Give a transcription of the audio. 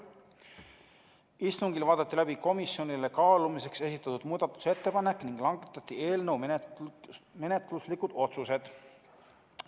Istungil vaadati läbi komisjonile kaalumiseks esitatud muudatusettepanek ning langetati eelnõu menetluslikud otsused.